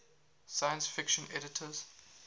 science fiction editors